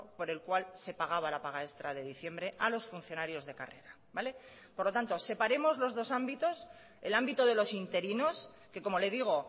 por el cual se pagaba la paga extra de diciembre a los funcionarios de carrera por lo tanto separemos los dos ámbitos el ámbito de los interinos que como le digo